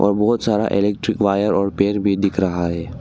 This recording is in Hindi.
और बहोत सारा इलेक्ट्रिक वायर और पेड़ भी दिख रहा है।